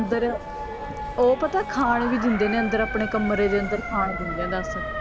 ਅੰਦਰ ਓਹ ਪਤਾ ਖਾਣ ਵੀ ਦਿੰਦੇ ਨੇ ਅੰਦਰ ਆਪਣੇ ਕਮਰੇ ਦੇ ਅੰਦਰ ਖਾਣ ਦਿੰਦੇ ਨੇ